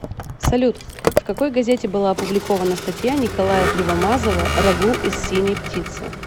салют в какой газете была опубликована статья николая кривомазова рагу из синей птицы